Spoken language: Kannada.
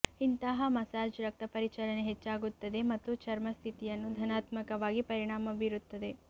ಇಂತಹ ಮಸಾಜ್ ರಕ್ತ ಪರಿಚಲನೆ ಹೆಚ್ಚಾಗುತ್ತದೆ ಮತ್ತು ಚರ್ಮ ಸ್ಥಿತಿಯನ್ನು ಧನಾತ್ಮಕವಾಗಿ ಪರಿಣಾಮ ಬೀರುತ್ತದೆ